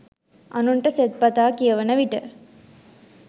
අනුන්ට සෙත්පතා කියවන විට